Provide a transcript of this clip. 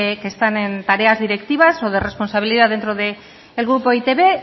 que están en tareas directivas o de responsabilidad dentro del grupo e i te be